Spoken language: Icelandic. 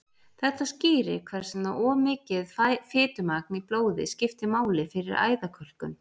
Þetta skýrir hvers vegna of mikið fitumagn í blóði skiptir máli fyrir æðakölkun.